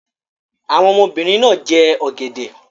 Àwọn ọmọbìnrin náà jẹ ọ̀gẹ̀dẹ̀